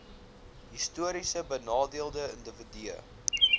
historiese benadeelde individue